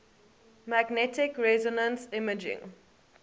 magnetic resonance imaging